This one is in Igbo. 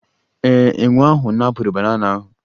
Ee, enwe ahụ napụrụ banana ahụ